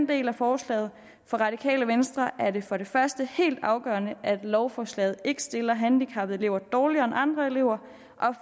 del af forslaget for radikale venstre er det for det første helt afgørende at lovforslaget ikke stiller handicappede elever dårligere end andre elever